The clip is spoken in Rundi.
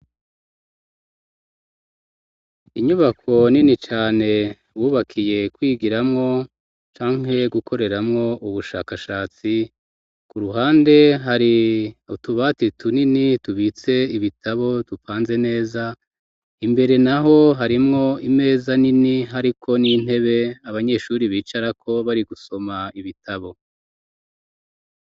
Inyubako nini cane wubakiye kwigiramwo canke gukoreramwo ubushakashatsi ku ruhande hari utubati tunini tubitse ibitabo tupanze neza imbere naho harimwo imeza nini hariko n'intebe abanyeshure bicarako bari gusoma ibitabo.